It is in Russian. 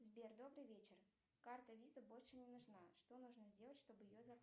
сбер добрый вечер карта виза больше не нужна что нужно сделать чтобы ее